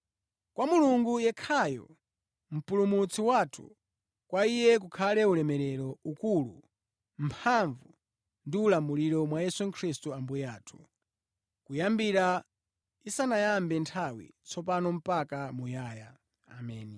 kwa Mulungu yekhayo, Mpulumutsi wathu, kwa Iye kukhale ulemerero, ukulu, mphamvu ndi ulamuliro, mwa Yesu Khristu Ambuye athu, kuyambira isanayambe nthawi, tsopano mpaka muyaya. Ameni.